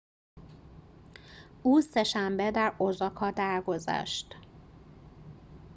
او سه‌شنبه در اوزاکا درگذشت